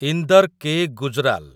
Inder K. Gujral